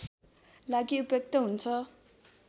लागि उपयुक्त हुन्छ